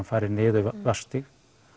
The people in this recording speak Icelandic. farið niður Vatnsstíg